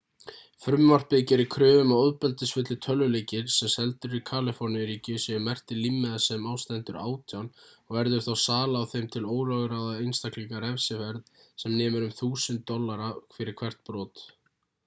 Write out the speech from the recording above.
frumvarpið gerir kröfu um að ofbeldisfullir tölvuleikir sem seldir eru í kaliforníu-ríki séu merktir límmiða sem á stendur 18 og verður þá sala á þeim til ólögráða einstaklinga refsiverð sem nemur 1000 usd fyrir hvert brot